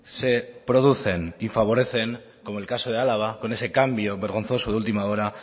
se producen y favorecen como el caso de álava con ese cambio vergonzoso de última hora